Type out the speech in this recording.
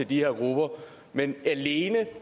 de her grupper men alene